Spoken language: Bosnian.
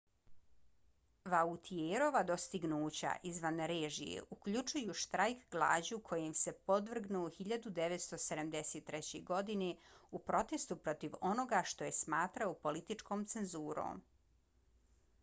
vautierova dostignuća izvan režije uključuju štrajk glađu kojem se podvrgnuo 1973. godine u protestu protiv onoga što je smatrao političkom cenzurom